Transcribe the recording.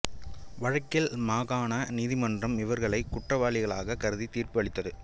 வழக்கில் மாகாண நீதிமன்றம் இவர்களை குற்றவாளிகளாகக் கருதி தீர்ப்பு அளித்தது